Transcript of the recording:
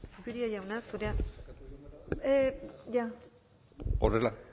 zupiria jauna zurea bai ondo